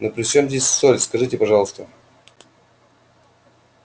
ну при чём здесь соль скажите пожалуйста